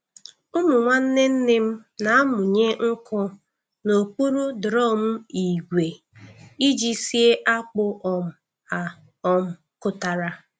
Ụmụ nwanne nne m na-amụnye nkụ n'okpuru drum ígwè iji sie akpu um a um kụtara.